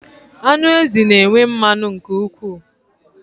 Anụ ezi na enwe mmanụ nke ụkwụ